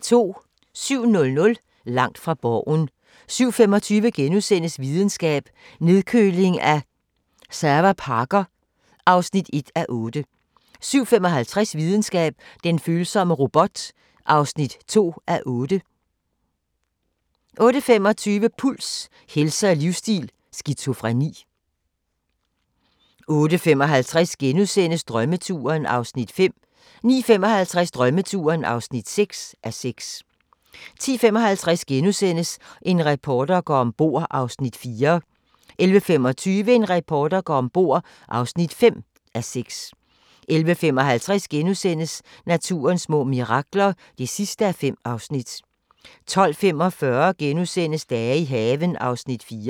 07:00: Langt fra Borgen 07:25: Videnskab: Nedkøling af serverparker (1:8)* 07:55: Videnskab: Den følsomme robot (2:8) 08:25: Puls – helse og livsstil: Skizofreni 08:55: Drømmeturen (5:6)* 09:55: Drømmeturen (6:6) 10:55: En reporter går om bord (4:6)* 11:25: En reporter går om bord (5:6) 11:55: Naturens små mirakler (5:5)* 12:45: Dage i haven (4:12)*